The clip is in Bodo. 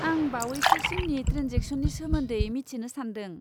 आं बावैसोसिननि ट्रेनजेक्सननि सोमोन्दै मिथिनो सान्दों।